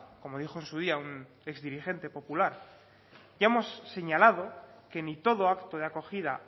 como dijo en su día un exdirigente popular ya hemos señalado que ni todo acto de acogida